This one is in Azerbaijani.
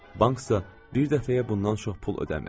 Banksa bir dəfəyə bundan çox pul ödəmir.